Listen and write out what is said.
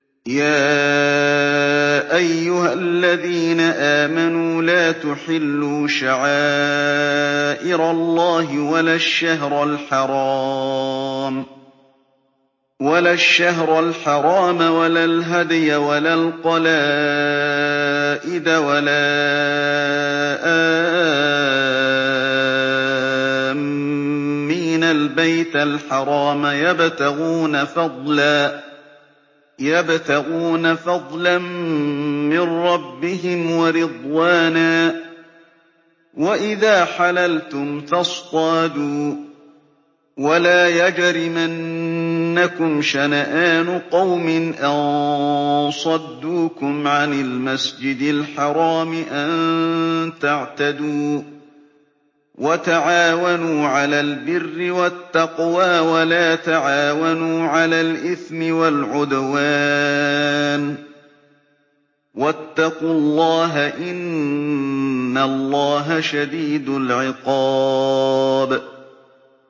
يَا أَيُّهَا الَّذِينَ آمَنُوا لَا تُحِلُّوا شَعَائِرَ اللَّهِ وَلَا الشَّهْرَ الْحَرَامَ وَلَا الْهَدْيَ وَلَا الْقَلَائِدَ وَلَا آمِّينَ الْبَيْتَ الْحَرَامَ يَبْتَغُونَ فَضْلًا مِّن رَّبِّهِمْ وَرِضْوَانًا ۚ وَإِذَا حَلَلْتُمْ فَاصْطَادُوا ۚ وَلَا يَجْرِمَنَّكُمْ شَنَآنُ قَوْمٍ أَن صَدُّوكُمْ عَنِ الْمَسْجِدِ الْحَرَامِ أَن تَعْتَدُوا ۘ وَتَعَاوَنُوا عَلَى الْبِرِّ وَالتَّقْوَىٰ ۖ وَلَا تَعَاوَنُوا عَلَى الْإِثْمِ وَالْعُدْوَانِ ۚ وَاتَّقُوا اللَّهَ ۖ إِنَّ اللَّهَ شَدِيدُ الْعِقَابِ